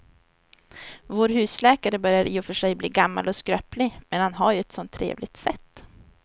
Vår husläkare börjar i och för sig bli gammal och skröplig, men han har ju ett sådant trevligt sätt!